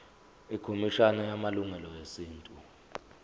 ikhomishana yamalungelo esintu